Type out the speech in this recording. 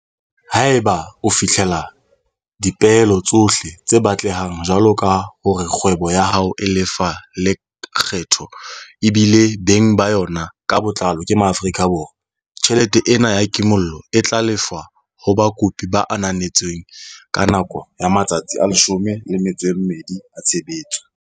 Haeba o fihlella dipeelo tsohle tse batlehang jwaloka hore kgwebo ya hao e lefa lekgetho ebile beng ba yona ka botlalo ke Maafrika Borwa, tjhelete ena ya kimollo e tla lefshwa ho bakopi ba ananetsweng ka nako ya matsatsi a 12 a tshebetso.